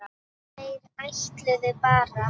Þeir ætluðu bara.